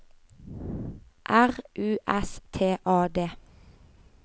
R U S T A D